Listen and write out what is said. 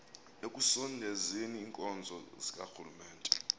ekusondezeni iinkonzo zikarhulumente